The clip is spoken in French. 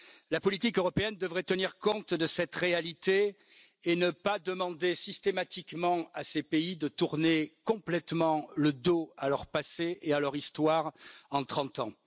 La politique européenne devrait tenir compte de cette réalité et ne pas demander systématiquement à ces pays de tourner complètement le dos à leur passé et à leur histoire en trente ans.